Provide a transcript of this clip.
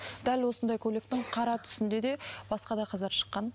дәл осындай көйлектің қара түсінде де басқа да қыздар шыққан